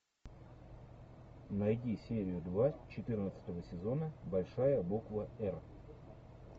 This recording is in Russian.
найди серию два четырнадцатого сезона большая буква р